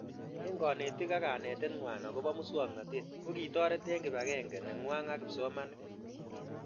Eng' kanetik ak kanetet ng'wai akopo muswognatet ko kitoret eng' kipag'eng'e neng'wai ak kipsomanik